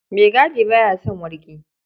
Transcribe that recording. Maigadi ba ya son wargi.